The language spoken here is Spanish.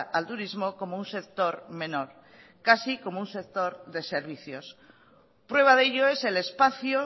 al turismo como un sector menor casi como un sector de servicios prueba de ello es el espacio